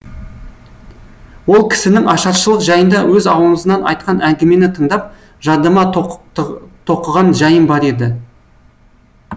ол кісінің ашаршылық жайында өз аузынан айтқан әңгімені тыңдап жадыма тоқыған жайым бар еді